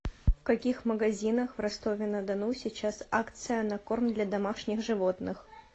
в каких магазинах в ростове на дону сейчас акция на корм для домашних животных